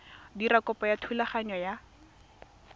dira kopo ya thulaganyo ya